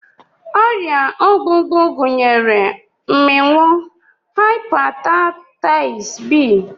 Ọrịa ogbugbu gụnyere mmịnwụ, hepataịtis b,